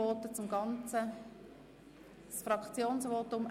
Gibt es Fraktionsvoten?